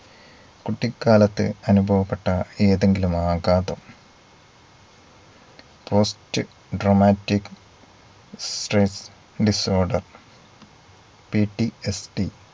കുട്ടിക്കാലത്തു അനുഭവപ്പെട്ട ഏതെങ്കിലും ആഘാതം post dramatic strain disorderPDSD